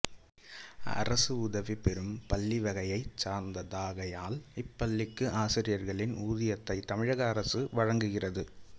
அரசு உதவிபெறும் பள்ளிவகையைச் சார்ந்ததாகையால் இப்பள்ளிக்கு ஆசிரியர்களின் ஊதியத்தைத் தமிழக அரசு வழங்குகிறது